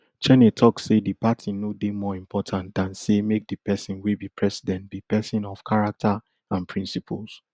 cheney tok say di party no dey more important dan say make di pesin wey be president be pesin of character and principles